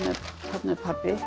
hérna er pabbi